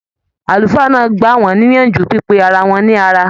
Àlùfáà náà gbà wọn níyànjú pipé ará wọn ní ará.